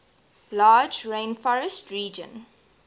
large rainforest region